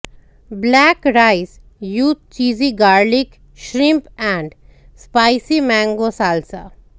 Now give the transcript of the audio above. black rice with cheesy garlic shrimp and spicy mango salsa